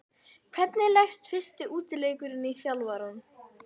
Hvernig leggst fyrsti útileikurinn í þjálfarann?